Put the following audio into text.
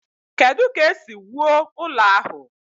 Kedu ka esi wuo ụlọ ahụ?